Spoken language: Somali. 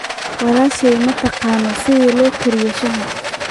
walaashani ma taqaan sida loo kariyo shaaha